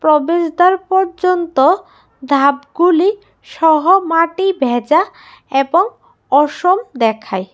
প্রবেশদ্বার পর্যন্ত ধাপগুলিসহ মাটি ভ্যাজা এবং অসম দেখায়।